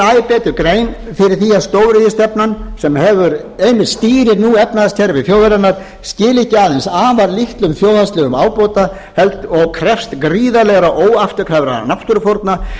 betur grein fyrir því að stóriðjustefnan sem einmitt stýrir nú efnahagskerfi þjóðarinnar skili ekki aðeins afar litlum þjóðhagslegum ábata og krefst gríðarlegra óafturkræfra náttúrufórna